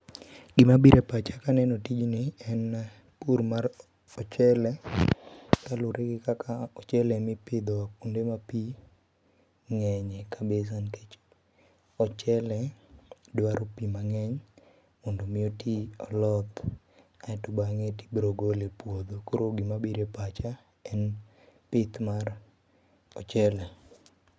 gima biro e pacha ka aneno tij ni en pur mar ochele kaluore kaka ochele ema ipidho kuonde ma piny ng’enye e kabisa nikech ochele dwaro pii mangeny mondo mi oti oloth aeto bang’ tibiro gole e puodho. koro gima piro e pacha en pith mar ochele.